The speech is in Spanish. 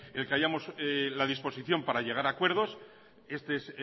la disposición para llegar a acuerdos